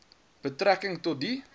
betrekking tot die